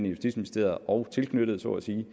justitsministeriet og tilknyttede så at sige